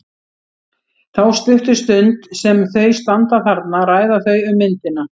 Þá stuttu stund sem þau standa þarna ræða þau um myndina.